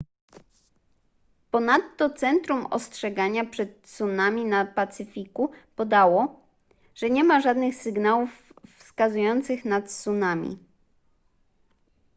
ponadto centrum ostrzegania przed tsunami na pacyfiku podało że nie ma żadnych sygnałów wskazujących na tsunami